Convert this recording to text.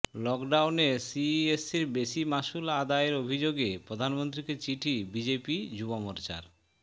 লকডাউনে সিইএসসির বেশি মাশুল আদায়ের অভিযোগে প্রধানমন্ত্রীকে চিঠি বিজেপি যুবমোর্চার